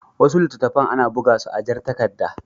Wasu littattafan ana buga su a jar takarda.